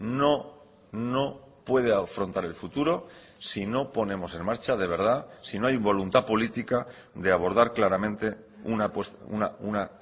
no no puede afrontar el futuro si no ponemos en marcha de verdad si no hay voluntad política de abordar claramente una